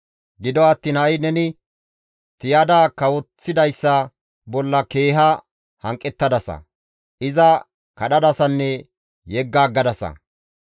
Gido attiin ha7i neni tiyada kawoththidayssa bolla keeha hanqettadasa; iza kadhadasanne yegga aggadasa.